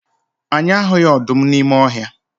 Anyị ahụghị ọdụm n'ime ọhịa.